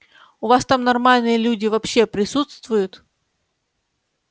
у вас там нормальные люди вообще присутствуют